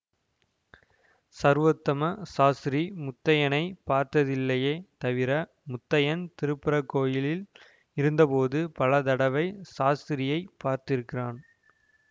ஸர்வோத்தம சாஸ்திரி முத்தையனைப் பார்த்ததில்லையே தவிர முத்தையன் திருப்பரங்கோயிலில் இருந்த போது பல தடவை சாஸ்திரியை பார்த்திருக்கிறான்